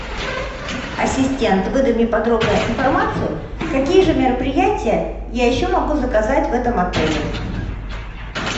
ассистент выдай мне подробную информацию какие же мероприятия я еще могу заказать в этом отеле